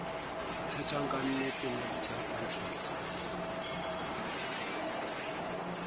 tsejwang ka ante nuptial contract